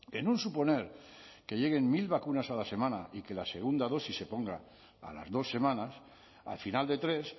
en un suponer que lleguen mil vacunas a la semana y que la segunda dosis se ponga a las dos semanas al final de tres